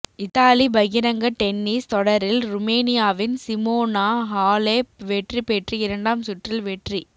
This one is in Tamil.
இத்தாலி பகிரங்க டென்னிஸ் தொடரில் ருமேனியாவின் சிமோனா ஹாலெப் வெற்றி பெற்று இரண்டாம் சுற்றில் வெற்றிப்